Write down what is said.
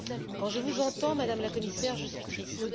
Quand je vous entends, Madame la Commissaire, je suis triste.